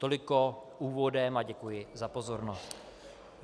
Toliko úvodem a děkuji za pozornost.